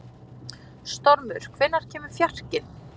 Stormur, hvenær kemur fjarkinn?